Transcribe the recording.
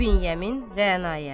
İbn Yemin Rəanaya.